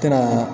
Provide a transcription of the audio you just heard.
Ka na